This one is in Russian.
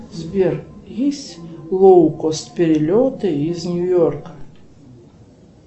сбер есть лоукост перелеты из нью йорка